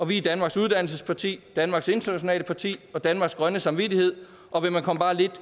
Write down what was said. vi er danmarks uddannelsesparti danmarks internationale parti og danmarks grønne samvittighed og vil man komme bare lidt